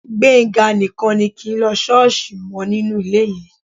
Gbénga nìkan ni kì í lọ ṣọ́ọ̀ṣì mọ́ nínú ilé yẹn